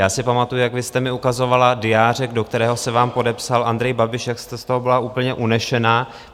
Já si pamatuji, jak vy jste mi ukazovala diářek, do kterého se vám podepsal Andrej Babiš, jak jste z toho byla úplně unesená.